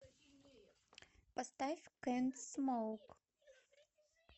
поставь кэнт смоук